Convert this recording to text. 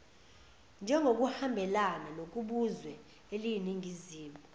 njengokuhambelana nokubuzwe eliyiningizimu